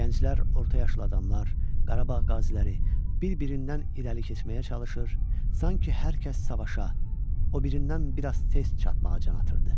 Gənclər, orta yaşlı adamlar, Qarabağ qaziləri bir-birindən irəli keçməyə çalışır, sanki hər kəs savaşa o birindən bir az tez çatmağa can atırdı.